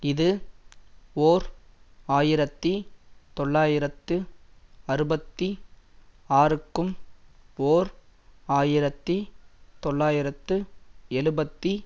இது ஓர் ஆயிரத்தி தொள்ளாயிரத்து அறுபத்தி ஆறுக்கும் ஓர் ஆயிரத்தி தொள்ளாயிரத்து எழுபத்தி